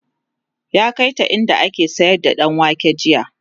ya kaita inda ake sayar da ɗanwake jiya